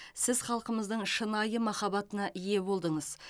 сіз халқымыздың шынайы махаббатына ие болдыңыз